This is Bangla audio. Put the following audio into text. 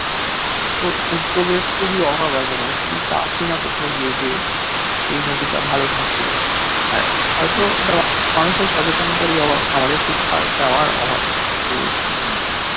তোর উদ্দ্যোগের খুবই অভাব আছে মানে তুই চাসই না কোথাও গিয়ে যে এই নদীটা ভালো থাকুক আর হয়তো এটা মানুষের সচেতনতারই অভাব আমাদের শিক্ষা দেওয়ার অভাব পরিবেশকে